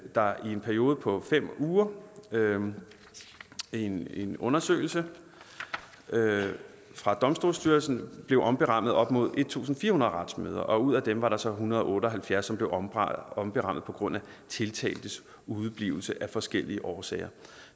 der i en periode på fem uger ifølge en en undersøgelse fra domstolsstyrelsen blev omberammet op mod en tusind fire hundrede retsmøder og ud af dem var der så en hundrede og otte og halvfjerds som blev omberammet omberammet på grund af tiltaltes udeblivelse af forskellige årsager